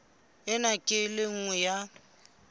ena ke e nngwe ya